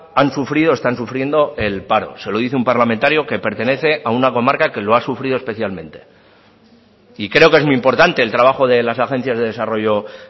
han sufrido o están sufriendo el paro se lo dice un parlamentario que pertenece a una comarca que lo ha sufrido especialmente y creo que es muy importante el trabajo de las agencias de desarrollo